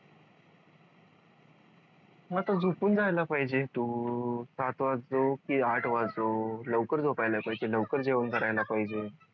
मग आता झोपून जायला पाहिजे तू सात वाजो की आठ वाजो लवकर झोपायला पाहिजे लवकर जेवण करायला पाहिजे